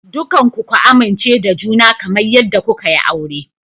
Dukanku ku amince da juna kamar yadda kuka yi aure.